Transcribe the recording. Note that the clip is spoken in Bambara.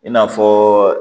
I n'a fɔ